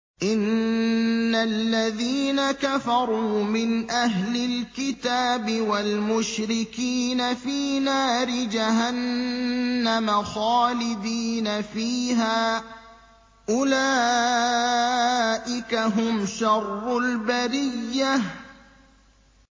إِنَّ الَّذِينَ كَفَرُوا مِنْ أَهْلِ الْكِتَابِ وَالْمُشْرِكِينَ فِي نَارِ جَهَنَّمَ خَالِدِينَ فِيهَا ۚ أُولَٰئِكَ هُمْ شَرُّ الْبَرِيَّةِ